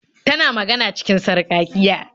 Tana magana cikin sarƙaƙiya.